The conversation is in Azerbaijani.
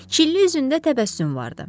Şirin üzündə təbəssüm vardı.